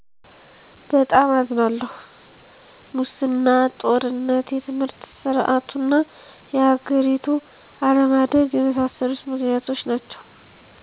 በጣም አዝናለሁ!! ሙሰና; ጦርነት; የትምህርት ሰርዓቱና የሀገሪቱ አለማደግ የመሣሠሉት ምክንያቶች ናቸዉ